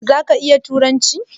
Zaka iya turanci?